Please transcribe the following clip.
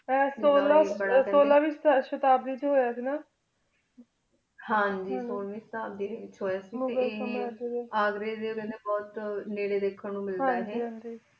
ਸੋਲਾਂ ਦੀ ਸ਼ਾਦਾਬ੍ਰੀ ਚ ਹੂਯ ਸੇ ਗਾ ਹਾਨਾ ਹਨ ਜੀ ਸੋਲ੍ਵਾਯਨ ਸਾਲ ਵੇਚ ਹੂਯ ਸੇ ਗਾ ਅਘ੍ਰੀ ਡੀ ਉਹੁ ਖੰਡੀ ਬੁਹਤ ਨਿਰੀ ਵੇਖਣ ਨੂੰ ਮਿਲਦਾ ਹਨ ਜੀ